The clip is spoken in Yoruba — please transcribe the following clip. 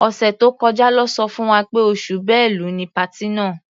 Ọ̀sẹ̀ tó kọjá lọ́ sọ fún wa pé oṣù Bẹ́lu ni patí náà.